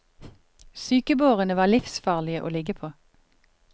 Sykebårene var livsfarlige å ligge på.